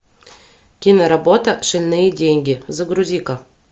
киноработа шальные деньги загрузи ка